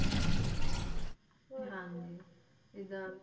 ਧਿਆਨ ਰਹੇ ਇਹਦਾ ਵੀ